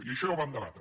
i això ja ho vam debatre